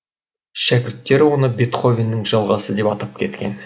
шәкірттері оны бетховеннің жалғасы деп атап кеткен